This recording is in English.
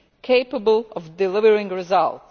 capable of delivering results.